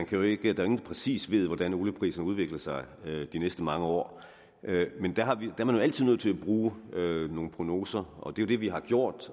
jo rigtigt at ingen præcis ved hvordan oliepriserne udvikler sig de næste mange år men der er man jo altid nødt til at bruge nogle prognoser og det er det vi har gjort